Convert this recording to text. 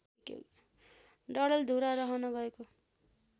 डडेलधुरा रहन गएको